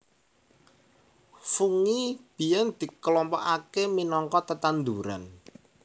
Fungi biyèn diklompokaké minangka tetanduran